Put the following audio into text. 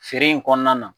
Feere in kɔnɔna na